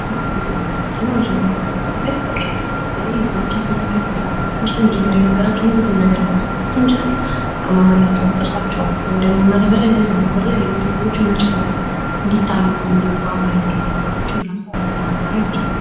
ማስጌጥ ማለት ምንድን ነው መጀመሪያ ከነበረበት መቀየር ነው:+ ስለዚህ ነገሮችን ስናስገጥ ምን ልናረጋቸው እንችላለን መጀመሪያ የነበራቸውን ሁሉንም ነገር ልናሳጣቸው እንችላለን:: አቀማመጣቸውን ቅርፃቸውን ወይ ደግሞ ምን እናደርጋለን እዛው ነገር ላይ ሌሎች ነገሮችን መጨመር:: እንዲታዩ እንዲዋቡ የሚያደርጉ ነገሮችን እነዛ ነገር ላይ መጨመር::